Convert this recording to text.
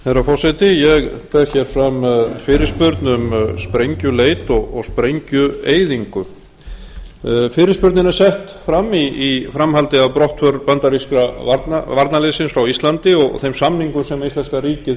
herra forseti ég ber hér fram fyrirspurn um sprengjuleit og sprengjueyðingu fyrirspurnin er sett fram í framhaldi af brottför bandaríska varnarliðsins frá íslandi og þeim samningum sem íslenska ríkið